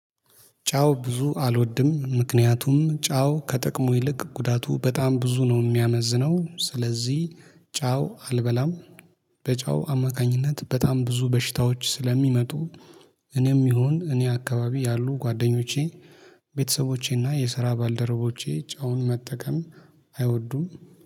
ጨው ብዙ አልወድም ምክንያቱም ጨው ከጥቅሙ ይልቅ ጉዳቱ በጣም ብዙ ነው የሚያመዝነው ስለዚህ ጨው አልበላም። በጨው አማካኝነት በጣም ብዙ በሽታዎች ስለሚመጡ። እኔም ይሁን እኔ አካባቢ ያሉ ጓደኞቼ። ቤተሰቦቼና የስራ ባልደረቦቼ ጨውን መጠቀም አይወዱም